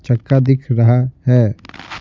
चक्का दिख रहा है।